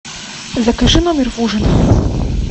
закажи номер в ужин